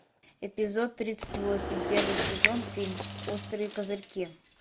эпизод тридцать восемь первый сезон фильм острые козырьки